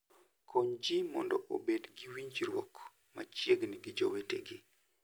Kony ji mondo obed gi winjruok machiegni gi jowetegi.